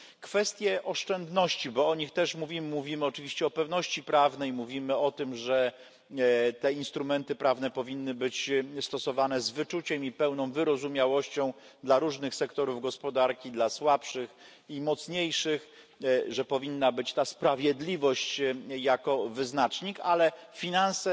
Kwestie oszczędności, bo o nich też mówimy, oczywiście o pewności prawnej mówimy o tym, że te instrumenty prawne powinny być stosowane z wyczuciem i pełną wyrozumiałością dla różnych sektorów gospodarki, dla słabszych i mocniejszych, że powinna być ta sprawiedliwość jako wyznacznik, ale finanse